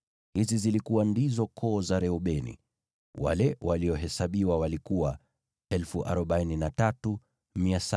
Hizi zilikuwa ndizo koo za Reubeni; wale waliohesabiwa walikuwa 43,730.